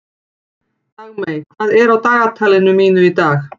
Dagmey, hvað er á dagatalinu mínu í dag?